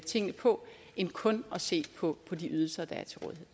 tingene på end kun at se på de ydelser der er